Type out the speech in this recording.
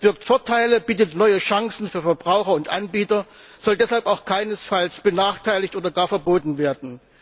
Das birgt Vorteile, bietet neue Chancen für Verbraucher und Anbieter, soll deshalb auch keinesfalls benachteiligt oder gar verboten werden.